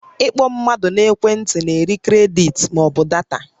Ị kpọ mmadụ n'ekwe ntị na-eri kredit ma ọ bụ data